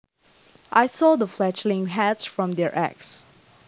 I saw the fledglings hatch from their eggs